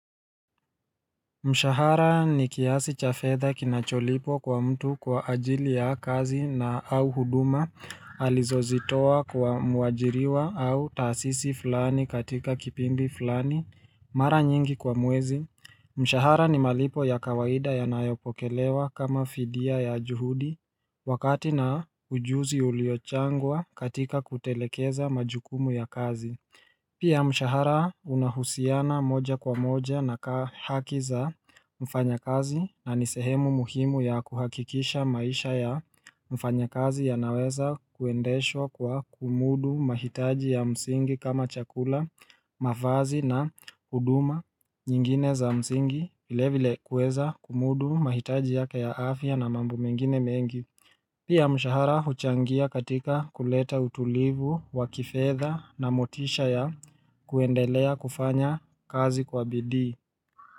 Mshahara ni kiasi cha fedha kinacholipwa kwa mtu kwa ajili ya kazi na au huduma alizozitoa kwa muajiriwa au tasisi fulani katika kipindi fulani. Mara nyingi kwa mwezi. Mshahara ni malipo ya kawaida yanayopokelewa kama fidia ya juhudi wakati na ujuzi uliochangwa katika kutelekeza majukumu ya kazi. Pia mshahara unahusiana moja kwa moja na kaa haki za mfanyakazi na ni sehemu muhimu ya kuhakikisha maisha ya mfanya kazi yanaweza kuendeshwa kwa kumudu mahitaji ya msingi kama chakula, mavazi na huduma nyingine za msingi vile vile kueza kumudu mahitaji yake ya afya na mambo mengine mengi. Pia mshahara huchangia katika kuleta utulivu, wakifedha na motisha ya kuendelea kufanya kazi kwa bidii.